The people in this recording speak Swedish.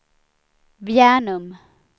Bjärnum